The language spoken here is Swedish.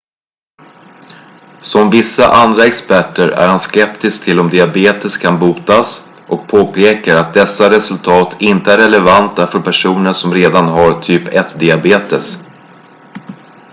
som vissa andra experter är han skeptisk till om diabetes kan botas och påpekar att dessa resultat inte är relevanta för personer som redan har typ 1-diabetes